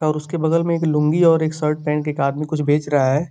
और उसके बगल में एक लूँगी और एक शर्ट पहन के एक आदमी कुछ बेच रहा है।